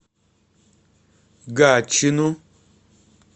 гатчину